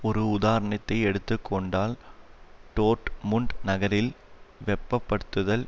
ஒரு உதாரணத்தை எடுத்து கொண்டால் டோர்ட்முண்ட் நகரில் வெப்பப்படுத்துதல்